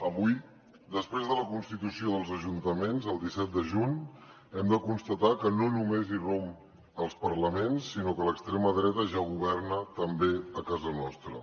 avui després de la constitució dels ajuntaments el disset de juny hem de constatar que no només irromp als parlaments sinó que l’extrema dreta ja governa també a casa nostra